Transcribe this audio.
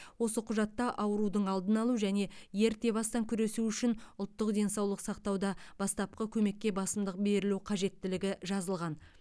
осы құжатта аурудың алдын алу және ерте бастан күресу үшін ұлттық денсаулық сақтауда бастапқы көмекке басымдық берілу қажеттілігі жазылған